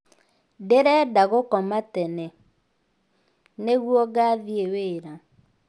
Ndĩrenda gũkomatene. nĩguo ngathiĩ wĩra